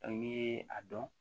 Dɔn n'i ye a dɔn